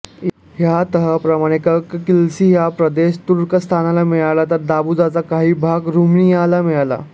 या तहाप्रमाणे कक॔ किल्सी हा प्रदेश तुर्कस्तानला मिळाला तर दोबृजाचा काही भाग रुमानियाला मिळाला